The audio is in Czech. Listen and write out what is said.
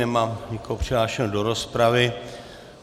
Nemám nikoho přihlášeného do rozpravy.